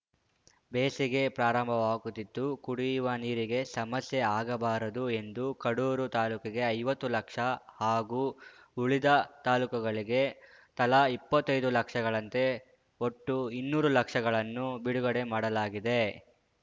ಬೇಸಿಗೆ ಪ್ರಾರಂಭವಾಗುತ್ತಿದ್ದು ಕುಡಿಯುವ ನೀರಿಗೆ ಸಮಸ್ಯೆ ಆಗಬಾರದು ಎಂದು ಕಡೂರು ತಾಲೂಕಿಗೆ ಐವತ್ತು ಲಕ್ಷ ಹಾಗೂ ಉಳಿದ ತಾಲೂಕುಗಳಿಗೆ ತಲಾ ಇಪ್ಪತ್ತೈದು ಲಕ್ಷಗಳಂತೆ ಒಟ್ಟು ಇನ್ನೂರು ಲಕ್ಷಗಳನ್ನು ಬಿಡುಗಡೆ ಮಾಡಲಾಗಿದೆ